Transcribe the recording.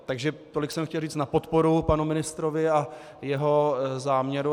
Takže tolik jsem chtěl říct na podporu panu ministrovi a jeho záměru.